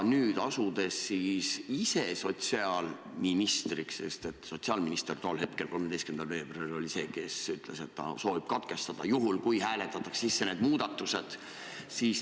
Nüüd olete asunud ise sotsiaalministriks .